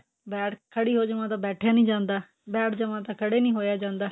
ਬੈਠ ਖੜੀ ਹੋ ਜਾਵਾਂ ਤਾਂ ਬੈਠਿਆ ਨਹੀਂ ਜਾਂਦਾ ਬੈਠ ਜਾਵਾਂ ਤਾਂ ਖੜੇ ਨਹੀਂ ਹੋਇਆ ਜਾਂਦਾ